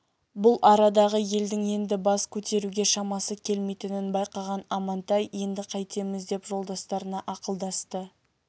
бұл арадағы елдің енді бас көтеруге шамасы келмейтінін байқаған амантай енді қайтеміз деп жолдастарына ақылдасты